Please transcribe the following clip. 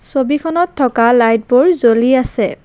ছবিখনত থকা লাইটবোৰ জ্বলি আছে।